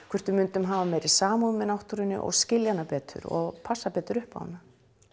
hvort við myndum hafa meiri samúð með náttúrunni og skilja hana betur og passa betur upp á hana